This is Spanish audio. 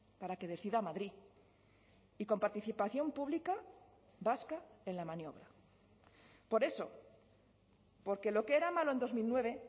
para que decida madrid y con participación pública vasca en la maniobra por eso porque lo que era malo en dos mil nueve